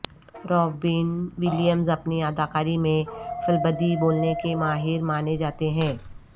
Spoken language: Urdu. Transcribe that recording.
رابن ولیئمز اپنی اداکاری میں فلبدی بولنے کے ماہر ماننے جاتے ہیں